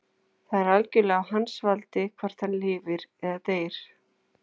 Það er algjörlega á hans valdi hvort hann lifir eða deyr.